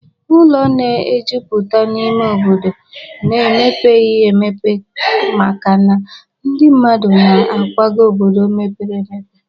Ụlọ na-ejupụta n'ime obodo n'emepeghi emepe makana ndị mmadụ na-akwaga obodo mepere emepe.